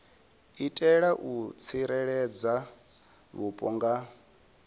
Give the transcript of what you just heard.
itela u tsireledza vhupo nga